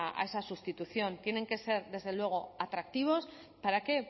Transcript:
a esa sustitución tienen que ser desde luego atractivos para qué